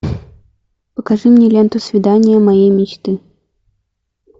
покажи мне ленту свидание моей мечты